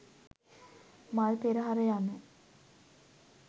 මල් පෙරහර යනු